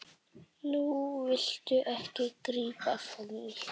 Núna viltu ekki grípa frammí.